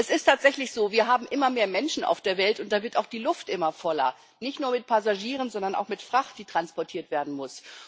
Es ist tatsächlich so Wir haben immer mehr Menschen auf der Welt und da wird auch die Luft immer voller nicht nur mit Passagieren, sondern auch mit Fracht, die transportiert werden muss.